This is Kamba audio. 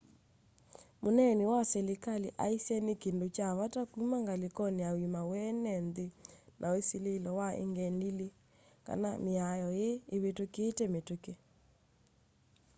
mneeni wa selikali aisye ni kindu cha vata kũma ngalikoni ya uima wa eene nthi na ũsililo wa ĩng'endilĩ kana miao ii ivitukitye mitũki